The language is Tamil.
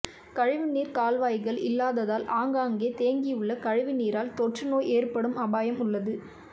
கழிவு நீர் கால்வாய்கள் இல்லாததால் ஆங்காங்கே தேங்கியுள்ள கழிவு நீரால் தொற்றுநோய் ஏற்படும் அபாயம் உள்ளது